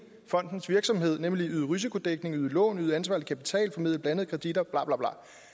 fondens virksomhed nemlig at yde risikodækning yde lån yde ansvarlig kapital formidle blandede kreditter og